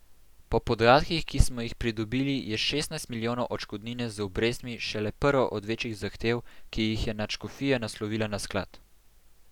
Po podatkih, ki smo jih pridobili, je šestnajst milijonov odškodnine z obrestmi šele prva od večjih zahtev, ki jih je nadškofija naslovila na Sklad.